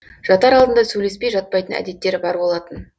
жатар алдында сөйлеспей жатпайтын әдеттері бар болатын